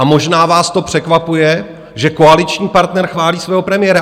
A možná vás to překvapuje, že koaliční partner chválí svého premiéra.